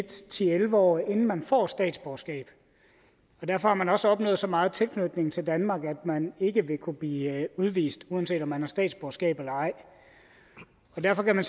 til elleve år inden man får statsborgerskab og derfor har man også opnået så meget tilknytning til danmark at man ikke vil kunne blive udvist uanset om man har statsborgerskab eller ej derfor kan man